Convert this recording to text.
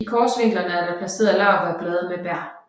I korsvinklerne er der placeret laurbærblade med bær